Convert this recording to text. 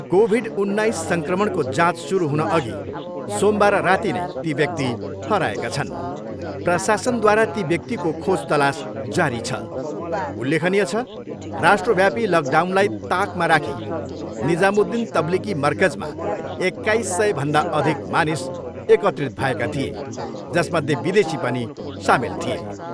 Covid उन्नाइस सङ्क्रमणको जाँच सुरु हुनअघि सोमबार राति नै ती व्यक्ति हराएका छन्। प्रशासनद्वारा ती व्यक्तिको खोज तलास जारी छ। उल्लेखनीय छ, राष्ट्रव्यापी लकडाउनलाई ताकमा राखी निजामुद्दिन तब्लिकी मरकजमा एक्काइस सयभन्दा अधिक मानिस एकत्रित भएका थिए, जसमध्ये विदेशी पनि सामेल थिए।